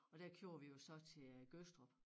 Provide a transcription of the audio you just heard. Og der kører vi jo så til Gødstrup